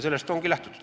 Sellest ongi lähtutud.